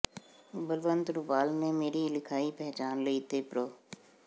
ਬਲਵੰਤ ਰੁਪਾਲ ਨੇ ਮੇਰੀ ਲਿਖਾਈ ਪਹਿਚਾਣ ਲਈ ਤੇ ਪ੍ਰੋ